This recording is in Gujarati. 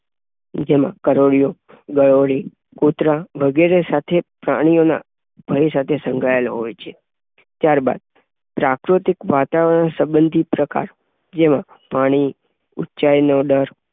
બીજામાં કરોળિયો, ગરોળી, કૃતરા વગેરે સાથે પ્રાણીઓના ભય સંકળાયેલો હોય છે. ત્યાર બાદ પ્રાકૃતિક વાતાવરણ સંબંધી પ્રકાર જેમાં પાણી, ઉંચાઈનો ડર